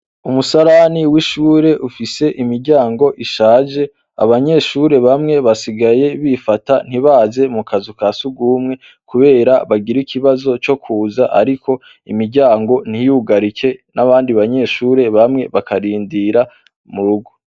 Umusalani w'ishure ufise imiryango ishaje abanyeshure bamwe basigaye bifata ntibaze mu kazu ka siugumwe, kubera bagira ikibazo co kuza, ariko imiryango ntiyugarike n'abandi banyeshure bamwe bakarindira mu rugo.